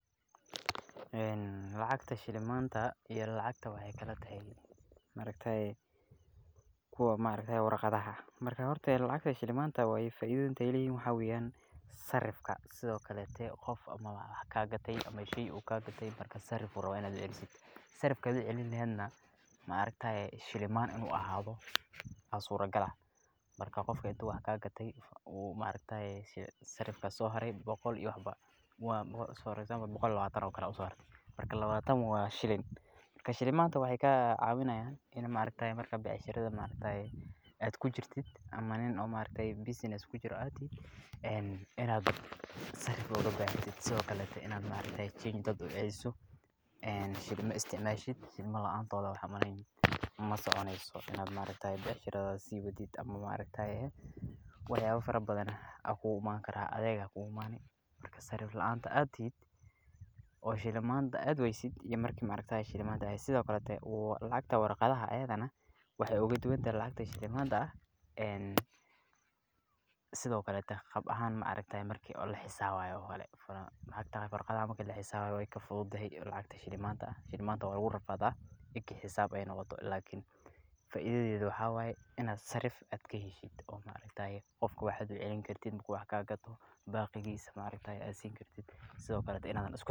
Lacagta shilimaanta iyo lacagta waxeey kala tahay kuwa warqadaha, marka lacagta shilimaanta faaidoyinka aay leeyihiin waxaa weeyan, sarifka sido kaleete qof wax kaa gate ama sheey uu kaa gate marka sarif ayuu rabaa inaad uceliso, sarifka adhi aad celin leheedna shilimaan inuu ahaado ayaa suura gal ah, marka qof wax uu kaa gate sarifka ama lacagta usoo labaneyso waa boqol iyo labaatan, marka labaatan waa shilin, marka shilimaanta waxaa kaa caawinaayan in maaragtaye becshirada aad kujirtid ama Nin business kujiro aad tihid, inaad sarif ooga baahatid, sido kale inaad change dadka uceliso, shilima isticmaashid shilima laantooda waxba masoconeyso, becshira aad sii wadid ama maaragtaye wax yaaba fara badan ayaa kugu Imaani karaa, adeeg ayaa kugu imaani, marka sarif laanta aad tihid oo shilimaanta aad waaysid iyo marki aad haysato, sido kale lacagta warqadaha ayadana waxeey ooga duban tahay lacagta shilimaanta, marka laxisaabayo waay ka fududahay lacagta shilimaanta, shilimaanta waa lagu rafaada marki aay xisaab noqoto, lakin faidadeeda waxaa waye inaad sarif kaheshid oo maaragtaye qofka wax aad ucelin kartid markuu wax kaa gato baaqigiisa aad siini kartid.